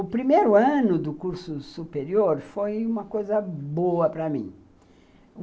O primeiro ano do curso superior foi uma coisa boa para mim.